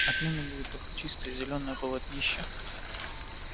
отныне будет только чистое зелёное полотнище